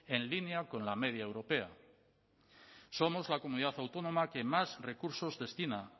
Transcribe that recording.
en línea con la media europea somos la comunidad autónoma que más recursos destina